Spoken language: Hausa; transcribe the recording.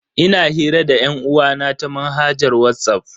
Ina hira da yan'uwa na ta manhajar Whatsapp.